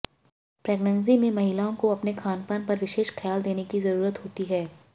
pregnancy में महिलाओं को अपने खानपान पर विशेष ख्याल देने की जरूरत होती है